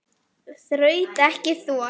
Þraut ekki þor.